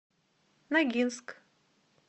ногинск